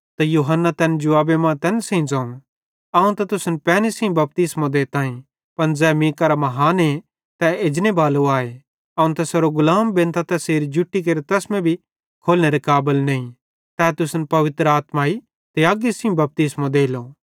तैसेरू छज्ज तैसेरे हथ्थे मां आए ते खलाड़ रोड़ेच़ारे साफ केरेलो ते गेहुं अपने कोठारे मां रखेलो पन झ़ाझ़ी तैस अग्गी मां फुकेलो ज़ै कधी हिशनेरी न भोली